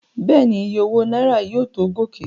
Bẹ́ẹ̀ni, Iye owó náírà yóò tó gòkè.